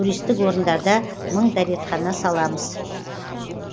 туристік орындарда мың дәретхана саламыз